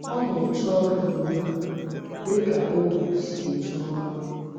Ọ na - eje ọrụ ugbu a, dị ka ohú si eje ọrụ.